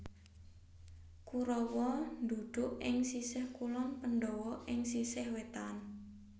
Kurawa ndhuduk ing sisih kulon Pandhawa ing sisih wetan